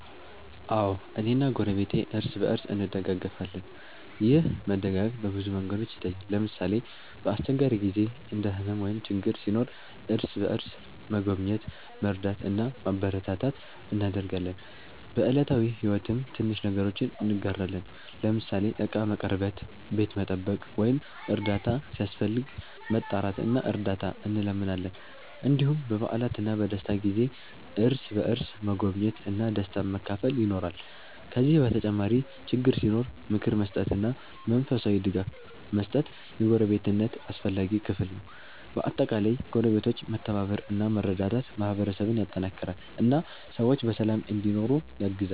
አዎ፣ እኔና ጎረቤቴ እርስ በእርስ እንደጋገፋለን። ይህ መደጋገፍ በብዙ መንገዶች ይታያል። ለምሳሌ፣ በአስቸጋሪ ጊዜ እንደ ሕመም ወይም ችግር ሲኖር እርስ በእርስ መጎብኘት፣ መርዳት እና ማበረታታት እናደርጋለን። በዕለታዊ ሕይወትም ትንሽ ነገሮችን እንጋራለን፤ ለምሳሌ ዕቃ መቀርበት፣ ቤት መጠበቅ ወይም እርዳታ ሲያስፈልግ መጣራት እና እርዳት እንለምናለን። እንዲሁም በበዓላትና በደስታ ጊዜ እርስ በእርስ መጎብኘት እና ደስታን መካፈል ይኖራል። ከዚህ በተጨማሪ ችግር ሲኖር ምክር መስጠትና መንፈሳዊ ድጋፍ መስጠት የጎረቤትነት አስፈላጊ ክፍል ነው። በአጠቃላይ ጎረቤቶች መተባበር እና መረዳዳት ማህበረሰብን ያጠናክራል እና ሰዎች በሰላም እንዲኖሩ ያግዛል።